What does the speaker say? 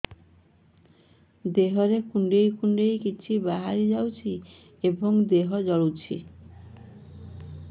ଦେହରେ କୁଣ୍ଡେଇ କୁଣ୍ଡେଇ କିଛି ବାହାରି ଯାଉଛି ଏବଂ ଦେହ ଜଳୁଛି